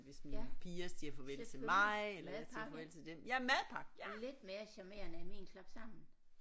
Ja selvfølgelig madpakke lidt mere charmerende end min klapsammen